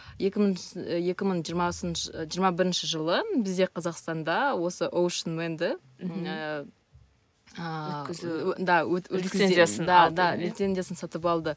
екі мың екі мың жиырмасыншы жиырма бірінші жылы бізде қазақстанда осы оушнменді ііі лицензиясын сатып алды